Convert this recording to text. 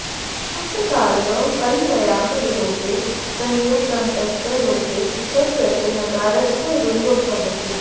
सुप्तकारयोः हल्ङ्यादिलोपे संयोगान्तस्य लोपे च कृते नकारस्य रुः भवति